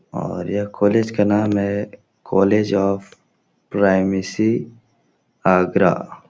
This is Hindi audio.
और यह कोलेज का नाम है कोलेज ऑफ़ प्राइमेसी आगरा।